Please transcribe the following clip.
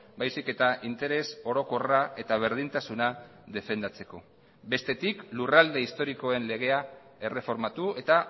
baizik eta interes orokorra eta berdintasuna defendatzeko bestetik lurralde historikoen legea erreformatu eta